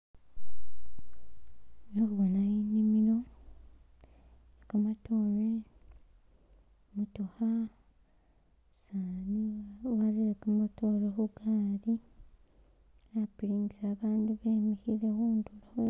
Khekhubona inimilo, kamatoore , I'motokha , umusani warere kamatoore khugaali khupiringisa abandu be mikhile khundulo